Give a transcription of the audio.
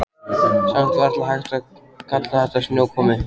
Samt varla hægt að kalla þetta snjókomu.